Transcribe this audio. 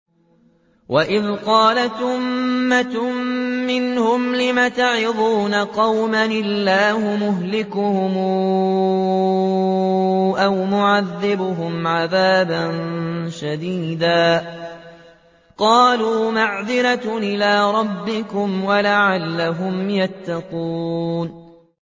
وَإِذْ قَالَتْ أُمَّةٌ مِّنْهُمْ لِمَ تَعِظُونَ قَوْمًا ۙ اللَّهُ مُهْلِكُهُمْ أَوْ مُعَذِّبُهُمْ عَذَابًا شَدِيدًا ۖ قَالُوا مَعْذِرَةً إِلَىٰ رَبِّكُمْ وَلَعَلَّهُمْ يَتَّقُونَ